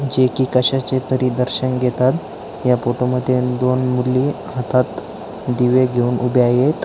जे की कशाचे तरी दर्शन घेतात या फोटो मध्ये दोन मुली हातात दिवे घेऊन उभ्या आहेत.